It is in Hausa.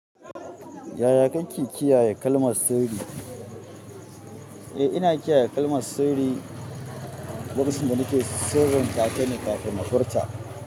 Yaya kake kiyaye kalmar sirri? Eh, ina kiyaye kalmar sirri, lokacindan da nake sirrintatane kafin na furta.